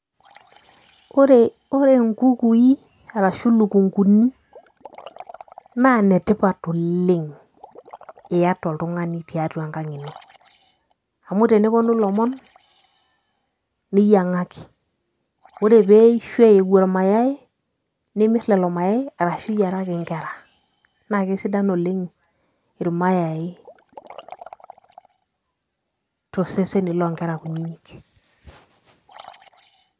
Ore nkukui arashu ilukunguni naa inetipat oleng' iata oltung'ani tiatua enkang' ino amu teneponu ilomon niyiang'aki ore pee eisho aiu ormayai nimirr lelo mayaai arashu iyiaraki nkera naa kesidan oleng' ormayai tooseseni loonkera kunyinyik.